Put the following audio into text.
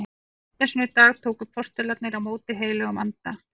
Á hvítasunnudag tóku postularnir á móti heilögum anda.